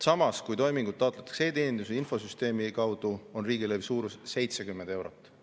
Samas, kui toimingut taotletakse e-teeninduse infosüsteemi kaudu, on riigilõivu suurus 70 eurot.